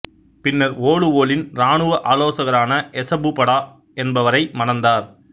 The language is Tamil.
பின்னர் ஒலுவோலின் இராணுவ ஆலோசகரான எசெபு படா என்பவரை மணந்தார்